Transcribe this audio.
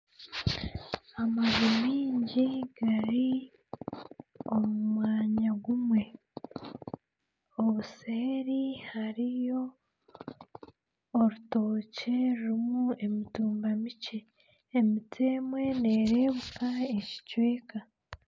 Amaju maingi gari omu mwanya gumwe. Obuseeri hariyo orutookye rurimu emitumba mikye, emiti emwe nereebeka ekicweka.